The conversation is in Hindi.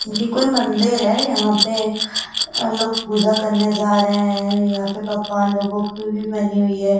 ये कोई मंदिर है। यहाँ पे लोग पूजा करने जा रहे हैं। यहाँ पे पकवान लोगो की भी बनी हुई है।